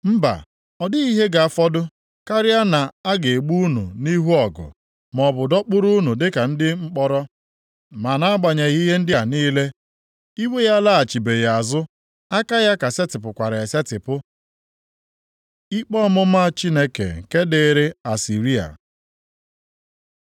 Mba, ọ dịghị ihe ga-afọdụ; karịa na a ga-egbu unu nʼihu ọgụ, maọbụ dọkpụrụ unu dịka ndị mkpọrọ. Ma nʼagbanyeghị ihe ndị a niile, iwe ya alaghachibeghị azụ, aka ya ka setịpụkwara esetipụ. Ikpe ọmụma Chineke nke dịrị Asịrịa